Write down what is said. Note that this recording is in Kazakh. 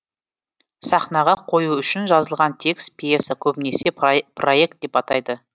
сахнаға қою үшін жазылған текст пьеса көбінесе проект деп атайды